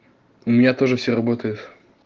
у меня тоже все работает